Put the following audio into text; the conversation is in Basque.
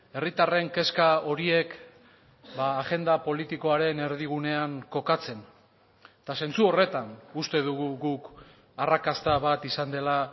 herritarren kezka horiek agenda politikoaren erdigunean kokatzen eta zentzu horretan uste dugu guk arrakasta bat izan dela